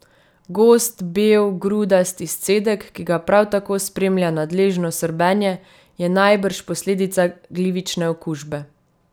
Gost, bel, grudast izcedek, ki ga prav tako spremlja nadležno srbenje, je najbrž posledica glivične okužbe.